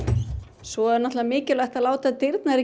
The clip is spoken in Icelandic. svo er náttúrulega mikilvægt að láta dyrnar ekki